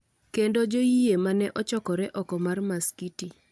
kendo joyie ma ne ochokore oko mar masikiti.